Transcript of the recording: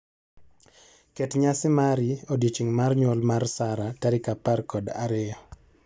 Ket nyasi mari odiechieng' mar nyuol mar Sarah tarik apar kod ariyo.